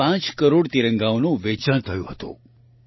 5 કરોડ તિરંગાનું વેચાણ થયું હતું